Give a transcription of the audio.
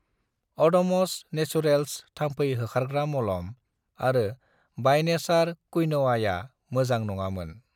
अड'म'स नेसुरेल्स थाम्फै होखारग्रा मलम आरो बाइ नेचार क्विन'आया मोजां नङामोन।